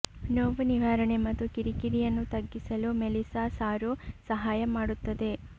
ನೋವು ನಿವಾರಣೆ ಮತ್ತು ಕಿರಿಕಿರಿಯನ್ನು ತಗ್ಗಿಸಲು ಮೆಲಿಸಾ ಸಾರು ಸಹಾಯ ಮಾಡುತ್ತದೆ